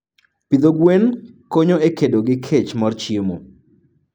Pidho gwen konyo e kedo gi kech mar chiemo.